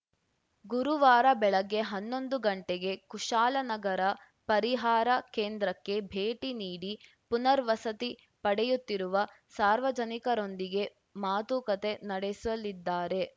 ಗುರುವಾರ ಬೆಳಗ್ಗೆ ಹನ್ನೊಂದು ಗಂಟೆಗೆ ಕುಶಾಲನಗರ ಪರಿಹಾರ ಕೇಂದ್ರಕ್ಕೆ ಭೇಟಿ ನೀಡಿ ಪುನರ್‌ ವಸತಿ ಪಡೆಯುತ್ತಿರುವ ಸಾರ್ವಜನಿಕರೊಂದಿಗೆ ಮಾತುಕತೆ ನಡೆಸಲಿದ್ದಾರೆ